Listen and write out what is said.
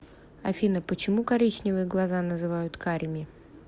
афина почему коричневые глаза называют карими